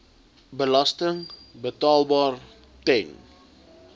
belasting betaalbaar ten